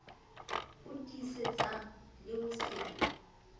o tiisetsang le ho se